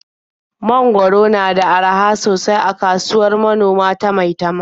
Mangwaro na da araha sosai a kasuwar manoma ta Maitama.